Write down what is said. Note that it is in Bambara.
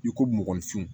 N'i ko mɔgɔninfinw